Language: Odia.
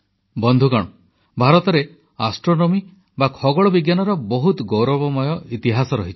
ବନ୍ଧୁଗଣ ଭାରତରେ ଜ୍ୟୋତିର୍ବିଜ୍ଞାନର ବହୁତ ଗୌରବମୟ ଇତିହାସ ରହିଛି